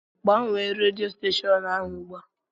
Gbanwee rèdió stèshọn ahụ ùgbúà